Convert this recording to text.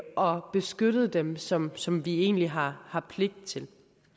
og beskyttet dem som som vi egentlig har har pligt til